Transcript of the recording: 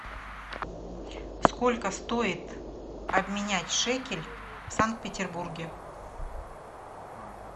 сколько стоит обменять шекель в санкт петербурге